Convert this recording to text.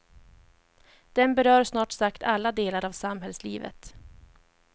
Den berör snart sagt alla delar av samhällslivet.